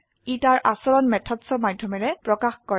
ই তাৰ আচৰণ মেথডছ ৰ মাধ্যমেৰে প্ৰকাশ কৰে